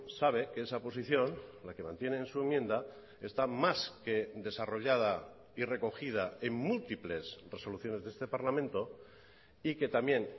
sabe que esa posición la que mantiene en su enmienda está más que desarrollada y recogida en múltiples resoluciones de este parlamento y que también